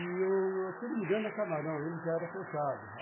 E, se não me engano, a Camarão, ele já era fechado.